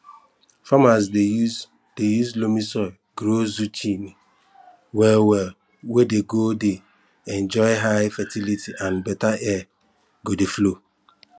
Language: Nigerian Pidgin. farmers dey use dey use loamy soil grow zucchini well well wey dey go dey enjoy high fertility and better air go dey flow